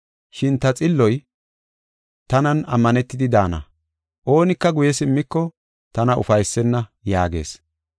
Shin ta xilloy, tanan ammanetidi daana; oonika guye simmiko tana ufaysenna” yaagees.